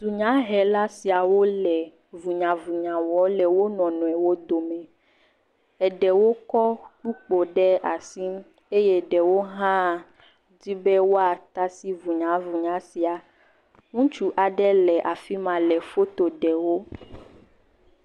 Dunyahela siawo le vunyavunya wɔm le wo nɔnɔewo dome. Eɖewo kɔ kpokpo ɖe asi eye ɖewo hã di be woatasi vunyavunya sia. Ŋutsu aɖe le afi ma le foto ɖe wo.